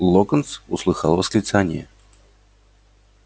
локонс услыхал восклицание